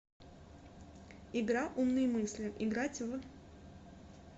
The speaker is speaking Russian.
игра умные мысли играть в